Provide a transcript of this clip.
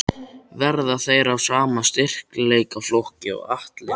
Verða þeir af sama styrkleikaflokki og Atli?